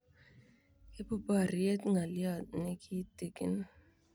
Ipu poryet ng'alyot ne kitikin.